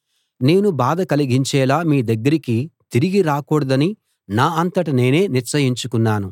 నేను బాధ కలిగించేలా మీ దగ్గరికి తిరిగి రాకూడదని నా అంతట నేనే నిశ్చయించుకున్నాను